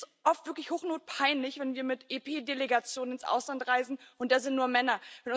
Mir ist es oft wirklich hochnotpeinlich, wenn wir mit EP Delegationen ins Ausland reisen, und da sind nur Männer